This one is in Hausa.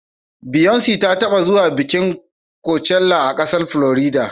Beyonce ta taɓa zuwa bikin kocella a ƙasar Florida.